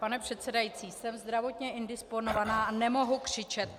Pane předsedající, jsem zdravotně indisponována a nemohu křičet.